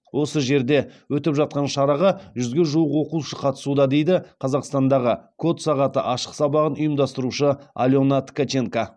осы жерде өтіп жатқан шараға жүзге жуық оқушы қатысуда дейді қазақстандағы код сағаты ашық сабағын ұйымдастырушы алена ткаченко